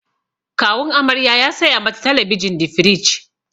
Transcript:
Kawun amarya ya saya mata talabijin di firij.